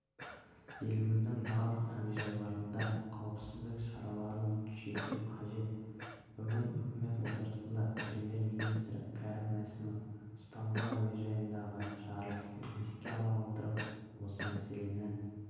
еліміздің барлық әуежайларындағы қауіпсіздік шараларын күшейту қажет бүгін үкімет отырысында премьер-министрі кәрім мәсімов стамбул әуежайындағы жарылысты еске ала отырып осы мәселені